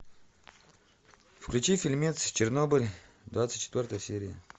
включи фильмец чернобыль двадцать четвертая серия